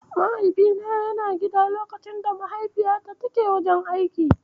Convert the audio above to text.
Mahaifina yana gida lokacin da Mahaifiyata take wajen aiki